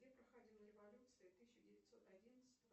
где проходила революция тысяча девятьсот одиннадцатого